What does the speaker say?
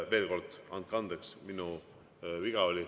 Veel kord: andke andeks, minu viga oli.